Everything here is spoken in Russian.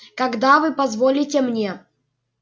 когда вы позволите мне